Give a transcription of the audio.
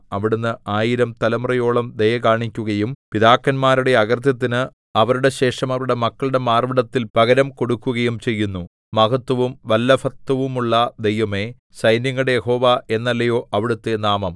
അവിടുന്ന് ആയിരം തലമുറയോളം ദയ കാണിക്കുകയും പിതാക്കന്മാരുടെ അകൃത്യത്തിന് അവരുടെ ശേഷം അവരുടെ മക്കളുടെ മാർവ്വിടത്തിൽ പകരം കൊടുക്കുകയും ചെയ്യുന്നു മഹത്ത്വവും വല്ലഭത്വവുമുള്ള ദൈവമേ സൈന്യങ്ങളുടെ യഹോവ എന്നല്ലയോ അവിടുത്തെ നാമം